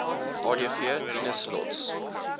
adv tinus lotz